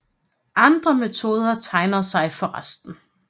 Andre metoder tegner sig for resten